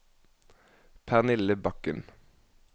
Pernille Bakken